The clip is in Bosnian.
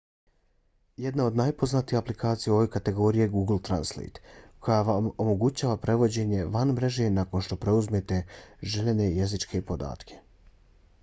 jedna od najpoznatijih aplikacija u ovoj kategoriji je google translate koja omogućava prevođenje van mreže nakon što preuzmete željene jezičke podatke